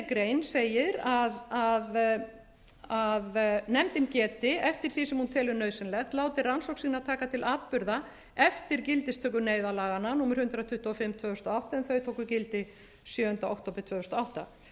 grein segir að nefndin geti eftir því sem hún telur nauðsynlegt látið rannsókn sína taka til atburða eftir gildistöku neyðarlaganna númer hundrað tuttugu og fimm tvö þúsund og átta en þau tóku gildi sjöunda október tvö þúsund og átta og sneiðist nú um